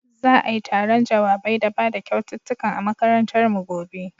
Za'ai taron jawabai da bada kyaututtukan a makarantar mu gobe.